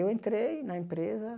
Eu entrei na empresa